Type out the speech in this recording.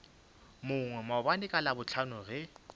mongwe maabane ka labohlano ge